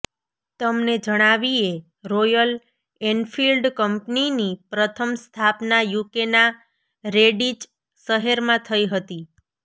તમને જણાવીએ Royal Enfield કંપનીની પ્રથમ સ્થાપના યૂકેના રેડિચ શહેરમાં થઈ હતી